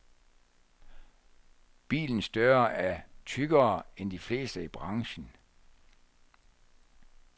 Bilens døre er tykkere end de fleste i branchen.